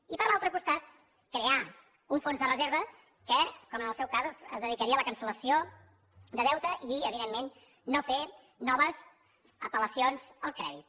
i per l’altre costat crear un fons de reserva que com en el seu cas es dedicaria a la cancel·lació de deute i evidentment no fer noves apel·lacions al crèdit